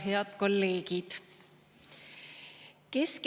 Head kolleegid!